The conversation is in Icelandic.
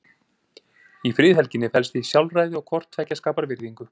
Í friðhelginni felst því sjálfræði og hvort tveggja skapar virðingu.